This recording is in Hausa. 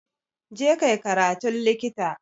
Je kai karatun Likita